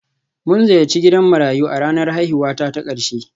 Mun ziyarci gidan marayu a ranar haihuwata ta ƙarshe